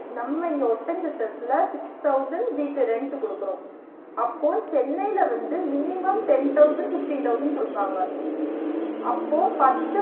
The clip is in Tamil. நம்ம இங்க ஒட்டன்சத்திரத்தில six thousand வீட்டு rent குடுக்குறோ அப்போ சென்னையில வந்து minimum ten thousand fifteen thousand குடுப்பாங்க, அப்போ பத்து